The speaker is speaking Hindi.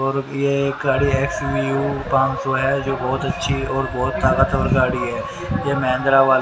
और यह एक गाड़ी एक्स_यू_वी पाँच सौ है जो बहुत अच्छी और बहुत ताकतवर गाड़ी है यह महिंद्रा व--